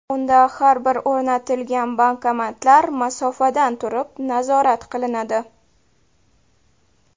Unda har bir o‘rnatilgan bankomatlar masofadan turib nazorat qilinadi.